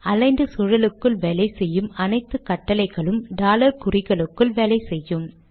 aligned சூழலுக்குள் வேலை செய்யும் அனைத்து கட்டளைகளும் டாலர் குறிகளுக்குள் வேலை செய்யும்